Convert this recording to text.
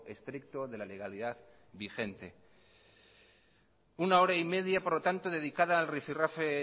estricto de la legalidad vigente una hora y media por lo tanto dedicada al rifirrafe